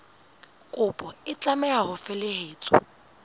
kopo e tlameha ho felehetswa